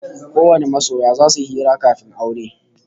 Kowane masoya zasu yi hira kafin aure